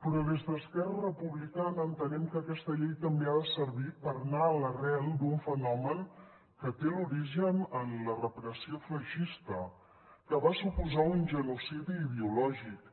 però des d’esquerra republicana entenem que aquesta llei també ha de servir per anar a l’arrel d’un fenomen que té l’origen en la repressió feixista que va suposar un genocidi ideològic